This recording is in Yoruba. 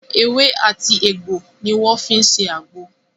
Ewé àti egbò ni wọ́n fi ń ṣe àgbo